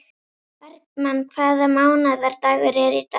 Bergmann, hvaða mánaðardagur er í dag?